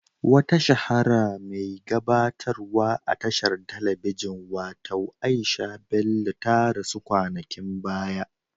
Wata shahara mai gabatarwa a tashar telebijin watau Aisha Bello ta rasu kwanakin baya.